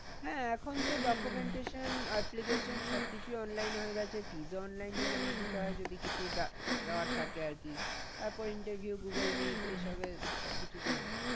হ্যাঁ এখন তো documentation application সব কিছুই online হয়ে গেছে fees ও online এ জমা দিতে হয়। যদি কিছু দেওয়ার থাকে আর কি তারপরে interview google meet এই সবের সব কিছুতেই হয়।